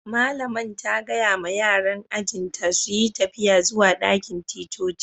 Malaman ta gaya ma yaran ajin ta su yi tafiya zuwa dakin ticcoci.